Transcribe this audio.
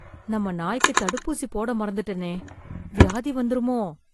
நம்ம நாய்க்கு தடுப்பூசி போட மறந்துட்டேனே. வியாதி வந்திருமோ?